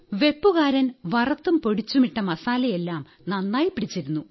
വെപ്പുകാരൻ വറത്തും പൊടിച്ചും ഇട്ട മസാലയെല്ലാം നന്നായി പിടിച്ചിരുന്നു